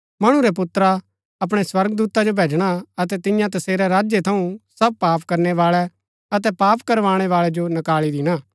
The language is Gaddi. मणु रै पुत्रा अपणै स्वर्गदूता जो भैजणा अतै तियां तसेरै राज्य थऊँ सब पाप करणै बाळै अतै पाप करवाणै बाळै जो नकाळी दिणा